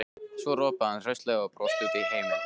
Svo ropaði hann hraustlega og brosti út í heiminn.